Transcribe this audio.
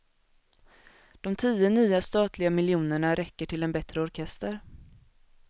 De tio nya statliga miljonerna räcker till en bättre orkester.